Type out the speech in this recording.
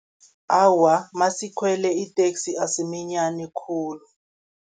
Awa, nasikhwele iteksi asiminyani khulu.